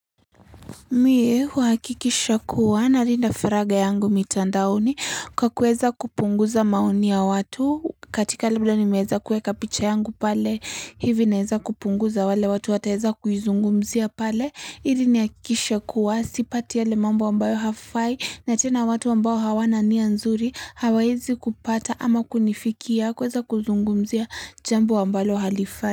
Mie huhakikisha kuwa nalinda faraga yangu mitandaoni kwa kuweza kupunguza maoni ya watu katika labda nimeweza kuweka picha yangu pale hivi naeza kupunguza wale watu wataeza kuizungumzia pale ili nihakikishe kuwa sipati yale mambo wambayo hafai na tena watu ambao hawana nia nzuri hawaezi kupata ama kunifikia kuweza kuzungumzia jambo ambalo halifai.